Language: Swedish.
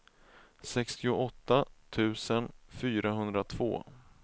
sextioåtta tusen fyrahundratvå